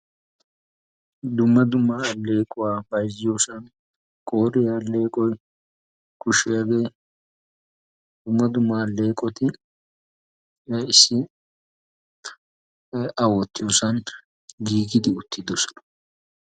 dumma dumaa alleequwaa bayzziyoosan qooriyaa alleeqoy, kushshiyaagee, dumma dumaa alleeqoti issi a wottiyoosan giigidi uttidosona.